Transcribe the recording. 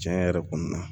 Tiɲɛ yɛrɛ kɔni na